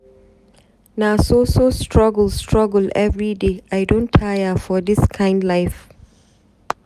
Na so so struggle struggle everyday, I don tire for dis kind life.